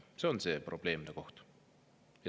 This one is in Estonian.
See on see probleemne koht.